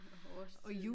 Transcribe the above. Årstid